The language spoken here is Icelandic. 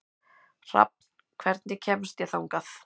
Hrafn, hvernig kemst ég þangað?